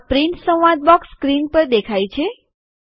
આ પ્રિન્ટ સંવાદ box screen પર દેખાય છે